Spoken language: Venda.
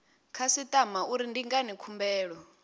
khasitama uri ndi ngani khumbelo